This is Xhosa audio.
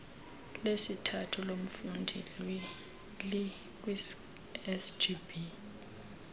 lesithathu lomfundi likwisgb